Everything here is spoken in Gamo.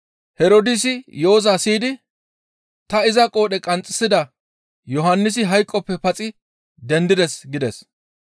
Herdoosi yo7oza siyidi, «Ta iza qoodhe qanxxisida Yohannisi hayqoppe paxi dendides» gides.